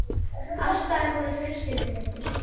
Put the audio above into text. Alls staðar voru fjölskyldu- myndir.